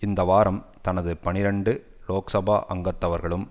இந்த வாரம் தனது பனிரண்டு லோக்சபா அங்கத்தவர்களும்